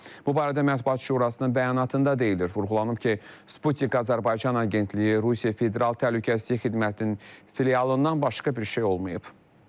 Bu barədə Mətbuat Şurasının bəyanatında deyilir, vurğulanıb ki, Sputnik Azərbaycan Agentliyi Rusiya Federal Təhlükəsizlik Xidmətinin filialından başqa bir şey olmayıb.